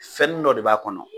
Fɛnnin dɔ de b'a kɔnɔ,